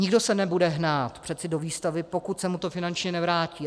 Nikdo se nebude hnát přece do výstavby, pokud se mu to finančně nevrátí.